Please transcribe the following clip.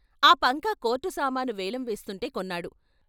ఆ పంకా కోర్టు సామాను వేలం వేస్తుంటే కొన్నాడు.